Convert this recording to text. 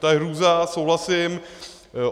To je hrůza, souhlasím.